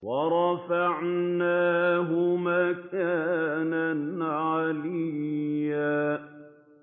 وَرَفَعْنَاهُ مَكَانًا عَلِيًّا